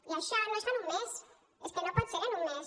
i això no es fa en un mes és que no pot ser en un mes